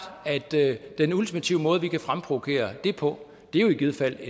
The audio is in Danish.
at den ultimative måde som vi kan fremprovokere det på er i givet fald